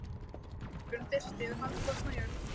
Næsta morgun birti yfir harðfrosna jörð.